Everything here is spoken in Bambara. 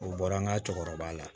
U bɔra an ka cɛkɔrɔba la